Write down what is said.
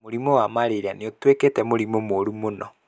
Mũrimũ wa marĩria nĩ ũtuĩkĩte mũrimũ mũru mũno